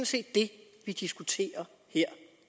set det vi diskuterer her